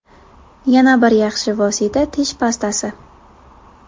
Yana bir yaxshi vosita tish pastasi.